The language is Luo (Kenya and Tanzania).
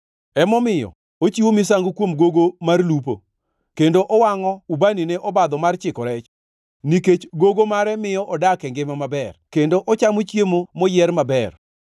Emomiyo, ochiwo misango kuom gogo mar lupo kendo owangʼo ubani ne obadho mar chiko rech, nikech gogo mare miyo odak e ngima maber kendo ochamo chiemo moyier maber.